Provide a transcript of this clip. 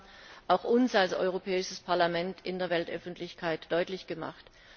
Sie haben auch uns als Europäisches Parlament in der Weltöffentlichkeit deutlich gemacht.